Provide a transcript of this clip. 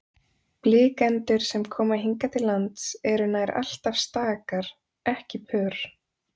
Blikendur sem koma hingað til lands eru nær alltaf stakar, ekki pör.